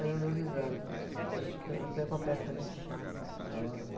Hoje eu dou risada, a gente punha, eu punha uma peça de, assim, pros olhos.